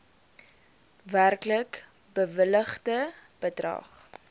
werklik bewilligde bedrag